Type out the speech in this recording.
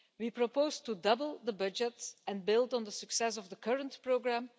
We propose to double the budget and build on the success of the current programme.